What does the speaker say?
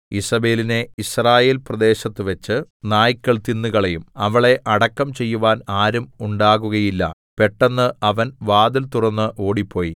ഈസേബെലിനെ യിസ്രായേൽപ്രദേശത്തുവെച്ച് നായ്ക്കൾ തിന്നുകളയും അവളെ അടക്കം ചെയ്യുവാൻ ആരും ഉണ്ടാകുകയില്ല പെട്ടെന്ന് അവൻ വാതിൽ തുറന്ന് ഓടിപ്പോയി